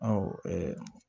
Awɔ